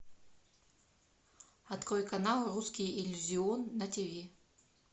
открой канал русский иллюзион на тв